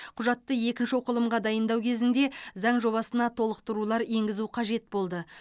құжатты екінші оқылымға дайындау кезінде заң жобасына толықтырулар енгізу қажет болды